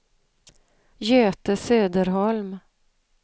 Göte Söderholm